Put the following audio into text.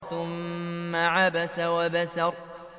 ثُمَّ عَبَسَ وَبَسَرَ